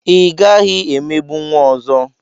Ị gaghị emegbu nwa ọzọ!